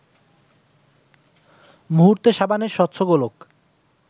মুহূর্তে সাবানের স্বচ্ছ গোলক